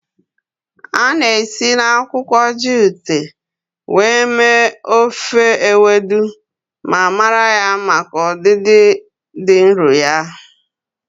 A na-esi na akwụkwọ jute mee ofe Ewedu ma mara ya maka ọdịdị dị nro ya.